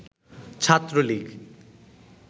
Chhatra League